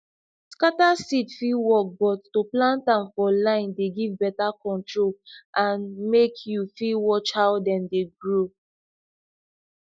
scatter seed fit work but to plant am for line dey give better control and make you fit watch how dem dey grow